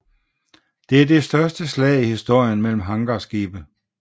Det er det største slag i historien mellem hangarskibe